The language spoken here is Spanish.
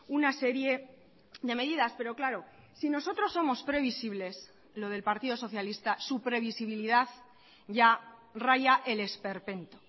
una serie de medidas pero claro si nosotros somos previsibles lo del partido socialista su previsibilidad ya raya el esperpento